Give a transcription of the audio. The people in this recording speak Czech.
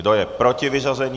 Kdo je proti vyřazení?